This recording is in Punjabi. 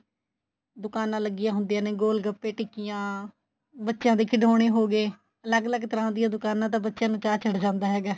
ਦੁਕਾਨਾ ਲੱਗੀਆ ਹੁੰਦੀਆਂ ਨੇ ਗੋਲ ਗੱਪੇ ਟਿਕੀਆਂ ਬੱਚਿਆਂ ਦੇ ਖਿਡੋਣੇ ਹੋ ਗਏ ਅਲੱਗ ਅਲੱਗ ਤਰ੍ਹਾਂ ਦੀਆਂ ਦੁਕਾਨਾ ਤਾਂ ਬੱਚਿਆਂ ਨੂੰ ਚਾ ਚੜ ਜਾਂਦਾ ਹੈਗਾ